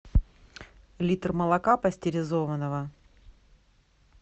литр молока пастеризованного